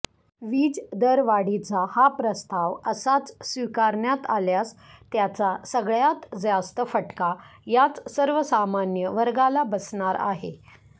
वीजदरवाढीचा हा प्रस्ताव असाच स्वीकारण्यात आल्यास त्याचा सगळ्यात जास्त फटका याच सर्वसामान्य वर्गाला बसणार आहे